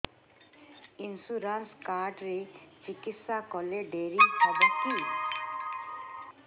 insurance card ରେ ଚିକିତ୍ସା କଲେ ଡେରି ହବକି